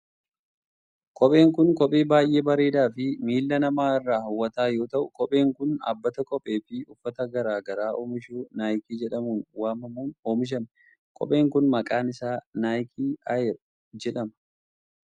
Kopheen kun kophee baay'ee bareedaa fi miila namaa irraa haw'ataa yoo ta'u, kopheen kun dhaabbata kophee fi uffata garaa garaa oomishu Naayikii jedhamuun waamamuun oomishame. Kopheen kun maqaan isaa "Naayikii Air" jedhama.